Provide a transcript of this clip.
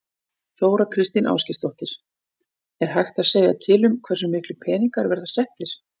Þóra Kristín Ásgeirsdóttir: Er hægt að segja til um hversu miklir peningar verða settir?